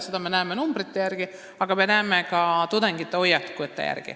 Seda me näeme arvude järgi, aga me näeme seda ka tudengite hoiakutest.